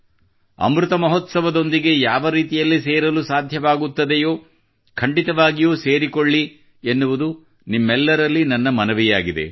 ಅಮೃತ ಮಹೋತ್ಸವದೊಂದಿಗೆ ಯಾವ ರೀತಿಯಲ್ಲಿ ಸೇರಲು ಸಾಧ್ಯವಾಗುತ್ತದೆಯೋ ಖಂಡಿತವಾಗಿಯೂ ಸೇರಿಕೊಳ್ಳಿ ಎನ್ನುವುದು ನಿಮ್ಮೆಲ್ಲರಲ್ಲಿ ನನ್ನ ಮನವಿಯಾಗಿದೆ